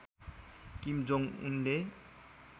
किम Jong उनले